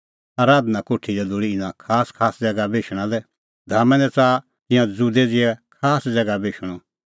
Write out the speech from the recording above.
आराधना कोठी दी लोल़ी इना खासखास ज़ैगा बेशणा लै धामा दी च़ाहा तिंयां ज़ुदै ज़िहै खास ज़ैगा बेशणअ